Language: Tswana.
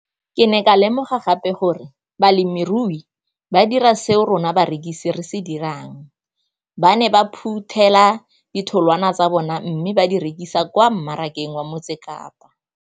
Ke ne ka lemoga gape gore balemirui ba dira seo rona barekisi re se dirang ba ne ba phuthela ditholwana tsa bona mme ba di rekisa kwa marakeng wa Motsekapa.